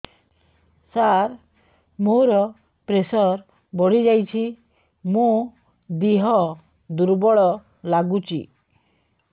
ସାର ମୋର ପ୍ରେସର ବଢ଼ିଯାଇଛି ମୋ ଦିହ ଦୁର୍ବଳ ଲାଗୁଚି